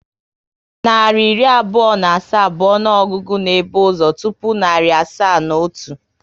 Narị iri abụọ na asaa bụ ọnụọgụgụ na ebu ụzọ tụpụ narị asaa na otu